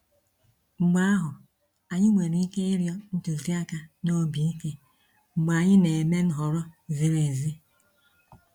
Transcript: Mgbe ahụ, anyị nwere ike ịrịọ ntụziaka n’obi ike mgbe anyị na-eme nhọrọ ziri ezi.